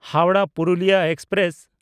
Howrah Purulia express